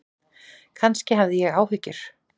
Kannski hafði ég áhyggjur.